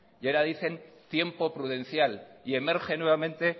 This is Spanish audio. y ahora dicen tiempo prudencial y emerge nuevamente